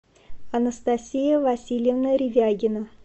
анастасия васильевна ревягина